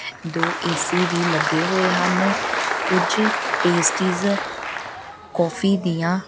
ਦੋ ਐ_ਸੀ ਵੀ ਲੱਗੇ ਹੋਏ ਹਨ ਕੁਝ ਪੇਸਟੀਜ਼ ਕੌਫੀ ਦੀਆਂ --